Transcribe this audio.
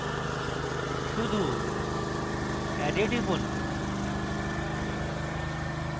শুধু add এ টিপুন